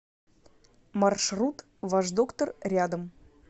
маршрут ваш доктор рядом